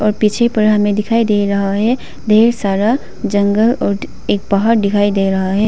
और पीछे पर हमे दिखाई दे रहा है ढेर सारा जंगल और एक पहाड़ दिखाई दे रहा है।